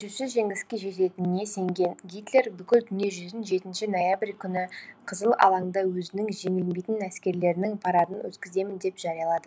шешуші жеңіске жететініне сенген гитлер бүкіл дүние жүзін жетінші ноябрь күні қызыл алаңда өзінің жеңілмейтін әскерлерінің парадын өткіземін деп жариялады